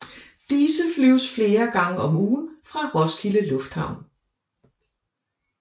Disse flyves flere gange om ugen fra Roskilde Lufthavn